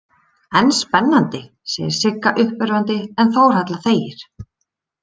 En spennandi, segir Sigga uppörvandi en Þórhalla þegir.